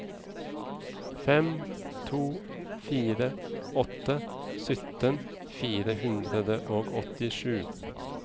fem to fire åtte sytten fire hundre og åttisju